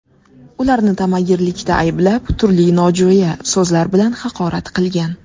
Ularni tamagirlikda ayblab, turli nojo‘ya so‘zlar bilan haqorat qilgan.